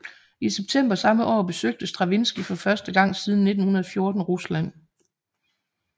I september samme år besøgte Stravinskij for første gang siden 1914 Rusland